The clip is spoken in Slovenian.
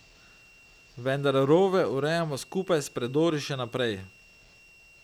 Vendar rove urejamo skupaj s predori še naprej.